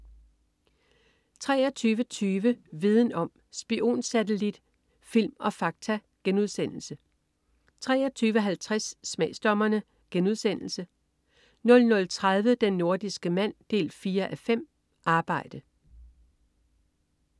23.20 Viden om: Spionsatellit, film og fakta* 23.50 Smagsdommerne* 00.30 Den nordiske mand 4:5. Arbejde